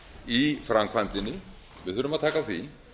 í framkvæmdinni við þurfum að taka á því